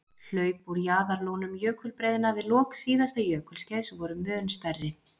Hlaup úr jaðarlónum jökulbreiðna við lok síðasta jökulskeiðs voru mun stærri.